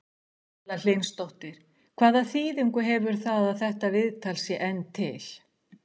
Erla Hlynsdóttir: Hvaða þýðingu hefur það að þetta viðtal sé enn til?